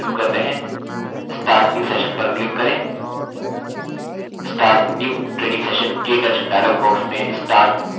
start new training sessionk touch dialog box में start from first level पर click करें